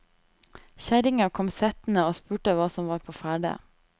Kjerringa kom settende og spurte hva som var på ferde.